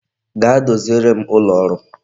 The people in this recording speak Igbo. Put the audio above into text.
Gaa doziere m ụlọ ọrụ m